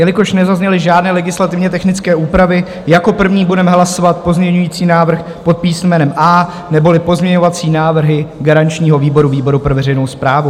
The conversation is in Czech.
Jelikož nezazněly žádné legislativně technické úpravy, jako první budeme hlasovat pozměňovací návrh pod písmenem A neboli pozměňovací návrhy garančního výboru, výboru pro veřejnou správu.